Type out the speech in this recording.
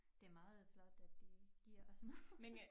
Det meget flot at de giver os noget